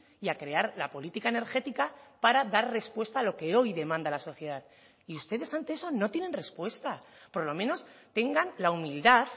y a crear la política energética para dar respuesta a lo que hoy demanda la sociedad y ustedes ante eso no tienen respuesta por lo menos tengan la humildad